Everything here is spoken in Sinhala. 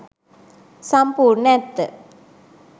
සම්පූර්ණ ඇත්ත